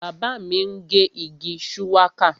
Bàbá mi ń gé igi shuwaka